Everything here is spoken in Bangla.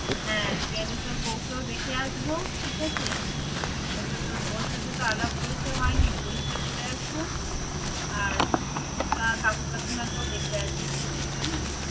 হ্যাঁ গেলে তোর বউকেও দেখে আসবো, ঠিক আছে? ওকে তোর ওর সাথে তো আলাপ পরিচয় হয়নি পরিচয় করে আসবো আর কাকু-কা~ কাকিমাকেও দেখে আসবো হম